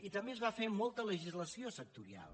i també es va fer molta legislació sectorial